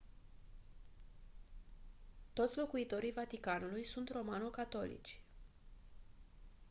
toți locuitorii vaticanului sunt romano-catolici